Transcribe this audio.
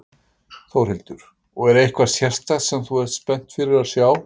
Þórhildur: Og er eitthvað sérstakt sem að þú ert spennt fyrir að sjá?